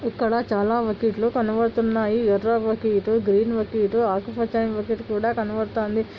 ఇక్కడ చాలా బకెట్లు కనబడుతున్నాయి. ఎర్ర బకెట్ గ్రీన్ బకెట్ ఆకుపచ్చని బకెట్ కూడా కనబడుతుంది.